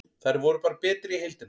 Þær voru bara betri í heildina.